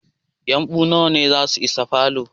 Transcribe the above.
Yumbu nawa ne zasu isa falo?